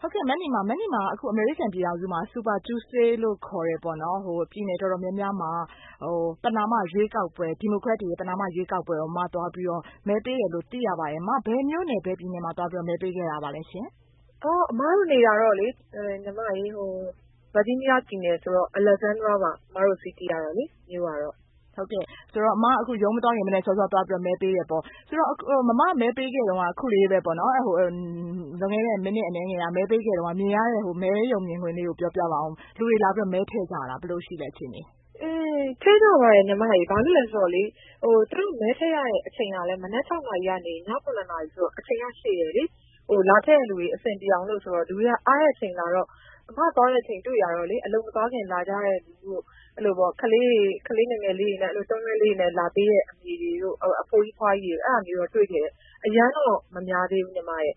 ဟုတ်ကဲ့ မနီမာ။ မနီမာက အမေရိကန်ပြည်ထောင်စုမှာ Super Tuesday လို့ခေါ်တဲ့ ပြည်နယ်တော်တော်များများမှာ Democratic တွေရဲ့ ပဏာမရွေးကောက်ပွဲကို အမ သွားပြီးတော့ မဲပေးတယ်လို့ သိရပါတယ်။ အမ ဘယ် မြို့နယ် ဘယ်ပြည်နယ်မှာ သွားပြီးတော့ မဲပေးခဲ့ပါသလဲရှင့်။ အမတို့နေတာတော့ Virginia ပြည်နယ်ဆိုတော့လေ အမတို့ City ကတော့ Alexandria ပါ မြို့ကတော့။ ဟုတ်ကဲ့။ ဆိုတော့ အမ ရုံးမသွားခင် မနက်စောစော မဲပေးတယ်ပေါ့။ ဆိုတော့ အမ မဲပေးခဲ့တော့ လွန်ခဲ့တဲ့ မိနစ်အနည်းငယ်က မဲပေးခဲ့တုန်းက မြင်ရတဲ့ မဲရုံမြင်ကွင်းလေးကို ပြောပြပါဦး။ လူတွေလာပြီးတော့ မဲထည့်ကြလား။ ဘယ်လိုရှိလဲ အခြေအနေ။ ထည့်ကြပါတယ် ညီမရေ။ ဘာဖြစ်လို့လည်းဆိုလို့ရှိရင် သူတို့ မဲထည့်ရတဲ့အချိန်ကလည်း မနက် ၆ နာရီကနေ ည ၇ နာရီဆိုတော့ အချိန်က ရှည်တယ်လေ။ လာထည့်ရတဲ့သူတွေ အဆင်ပြေအောင်လို့ဆိုတော့ လူတွေက အားတဲ့အချိန်လာတာဆိုတော့ အမ သွားတဲ့အချိန်တွေ့တာတော့ အလုပ်မသွားခင် လာကြတဲ့သူတွေ၊ ကလေးတွေ ကလေးငယ်ငယ်လေးတွေနဲ့ တွန်းလှည်းလေးတွေနဲ့ လာပေးတဲ့သူတွေ၊ အဖိုးကြီး အဖွားကြီးတွေတို့ အဲ့ဒါမျိုးတော့ တွေ့ခဲ့တယ်။ အရမ်းတော့ မများသေးဘူး ညီမရဲ့။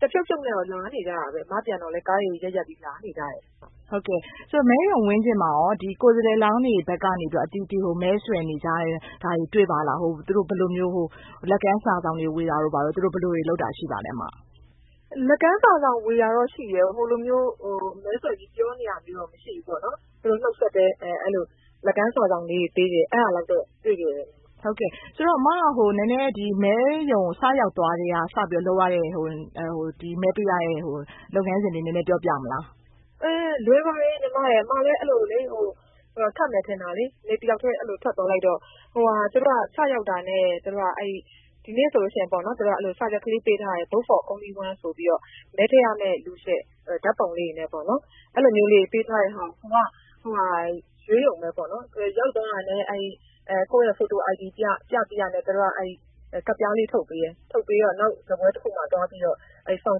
တဖြုတ်ဖြုတ်နဲ့တော့ လာနေကြတာပဲ။ အမပြန်တော့လည်း ကားတွေ ရပ်ရပ်ပြီး လာနေကြတယ်။ ဟုတ်ကဲ့။ မဲရုံဝန်းကျင်မှာရော။ ဒီ ကိုယ်စားလှယ်လောင်းတွေဘက်ကနေ အသီးသီး မဲဆွယ်နေကြတာတွေရော တွေ့ပါလား။ သူတို့ ဘယ်လိုမျိုး လက်ကမ်းစာစောင်တွေ ဝေတာတို့ ဘာတို့ သူတို့ ဘယ်လိုတွေလုပ်တာတွေ ရှိပါသလဲ အမ။ လက်ကမ်းစာစောင်ဝေတာတော့ရှိတယ်။ ဟိုလိုမျိုး မဲဆွယ်ပြီး ပြောနေတာမျိုးတော့ မရှိဘူးပေါ့နော်။ သူတို့ နှုတ်ဆက်တယ်။ အဲ့ဒီလို လက်ကမ်းစာစောင်လေးတွေပေးတာလောက်တော့ တွေ့ခဲ့တယ်။ ဆိုတော့ အမက ဒီနေ့ မဲရုံကို စရောက်သွားကတည်းက လုပ်ရတဲ့ လုပ်ငန်းစဉ်လေး နည်းနည်းပြောပြမလား။ လွယ်ပါတယ် ညီမရဲ့။ အမလည်း အဲ့လိုလေ ခက်မယ်ထင်တာလေ တယောက်တည်း ထွက်သွားလိုက်တော့။ သူတို့က စရောက်တာနဲ့ ဒီနေ့ဆိုလို့ရှိရင် သူတို့က စာရွက်လေးပေးထားတယ်။ vote for only one ဆိုပြီးတော့ မဲထည့်ရမယ့်လူရဲ့ ဓာတ်ပုံလေးတွေနဲ့ပေါ့နော်။ အဲ့လိုမျိုးလေးတွေ ပေးထားတဲ့ဟာကို ကိုယ်က ရွေးရုံပဲပေါ့နော်။ ရောက်သွားတာနဲ့ ကိုယ့်ရဲ့ photo ID ပြ၊ ပြပြီးတာနဲ့ သူတို့က ကဒ်ပြားလေးထုတ်ပေးတယ်။ ထုတ်ပေးတော့ နောက် စားပွဲတခုမှာ သွားပြီးတော့ form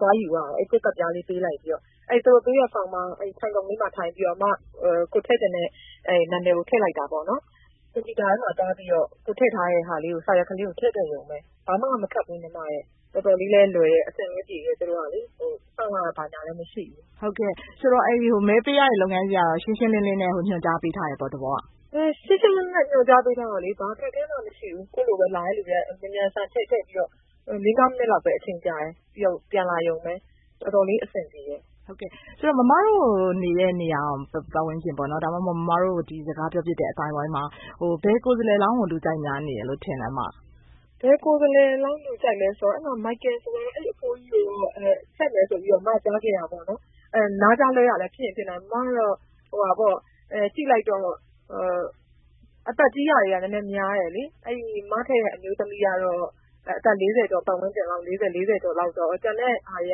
သွားယူရတယ်၊ ကိုယ့် ကဒ်ပြားလေး ပေးလိုက်ပြီးတော့ သူတို့ ပေးတဲ့ form မှာ ထိုင်ခုံလေးမှာ ထိုင်ပြီးတော့ အမ ကိုယ်ထည့်ချင်တဲ့ နာမည်ကို ထည့်လိုက်တာပေါ့နော်။ ကွန်ပျူတာထဲမှာ သွားပြီးတော့ ကိုယ်ထည့်ထားတဲ့ ဟာလေးကို စာရွက်ကလေးကို ထည့်လိုက်ရုံပဲ။ ဘာမှ မခက်ဘူး ညီမရဲ့။ တော်တော်လေးလည်းလွယ်တယ်။ အဆင်လည်းပြေတယ် သူတို့ကလေ။ စောင့်ရတာ ဘာညာလည်းမရှိဘူး။ ဆိုတော့ မဲပေးရတဲ့ လုပ်ငန်းစဉ်ကတော့ ရှင်းရှင်းလင်းလင်းနဲ့ ညွှန်ကြားပေးထားတယ်ပေါ့ သဘောက။ ရှင်းရှင်းလင်းလင်းနဲ့ ညွှန်ကြားပေးထားတော့လေ ဘာအခက်အခဲမှ မရှိဘူး။ ကိုယ့်လိုပဲ လာတဲ့သူတွေက မြန်မြန်ဆန်ဆန် မဲထည့်ပြီးတော့။ ၄၊ ၅ မိနစ်လောက်ပဲ အချိန်ကြာတယ်။ ပြီးတော့ ပြန်လာရုံပဲ။ တော်တော်လေး အဆင်ပြေတယ်။ ဆိုတော့ အမတို့နေတဲ့နေရာ ပတ်ဝန်းကျင်ပေါ့နော် ဒါမှမဟုတ် အမတို့ စကားပြောဖြစ်တဲ့ အသိုင်းအဝိုင်းမှာ ဘယ်ကိုယ်စားလှယ်လောင်းကို လူကြိုက်များနေလဲလို့ ထင်လဲ အမ။ ဘယ်ကိုယ်စားလှယ်လောင်းလူကြိုက်များနေလဲဆိုတော့ အဲ့မှာ Micheal ဆိုလား အဲ့အဘိုးကြီးကိုတော့ ထည့်မယ်ဆိုပြီးတော့ အမ ကြားခဲ့တာပေါ့နော်။ နားကြားလွဲတာလည်း ဖြစ်ချင်ဖြစ်နိုင်မယ်။ ဆိုတော့ အမ ကြည့်လိုက်တော့ အသက်ကြီးတာတွေက နည်းနည်းများတယ်လေ။ အဲ့ဒီ အမထည့်တဲ့ အမျိူးသမီးကတော့ အသက် ၄၀ ကျော် ပတ်ဝန်းကျင်၊ အသက် ၄၀၊ ၄၀ လောက်ဆိုတော့ ကျန်တဲ့ဟာတွေ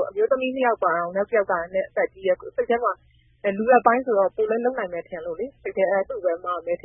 က အမျိုးသမီး ၂ ယောက်မှာတောင် နောက်တယောက်က နည်းနည်း အသက်ကြီးတယ်။ စိတ်ထဲမှာ လူလတ်ပိုင်းဆိုတော့ ပိုလည်းလုပ်နိုင်မယ်ထင်လို့လေ စိတ်ထဲ။ သူပဲ အမက မဲထည့်